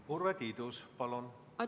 Urve Tiidus, palun!